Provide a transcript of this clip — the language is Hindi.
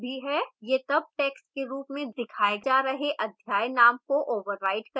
यह तब टैक्स्ट के रूप में दिखाए जा रहे अध्याय name को override करेगा